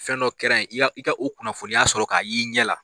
Fɛn dɔ kɛra yen, i ka kunnafoniya sɔrɔ k'a y'i ɲɛ la.